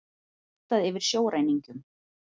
Réttað yfir sjóræningjum